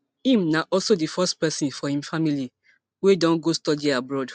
im na also di first pesin for im family wey don go study abroad